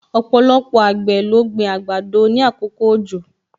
Ọpọlọpọ àgbẹ̀ ló gbin àgbàdo ni àkókò òjò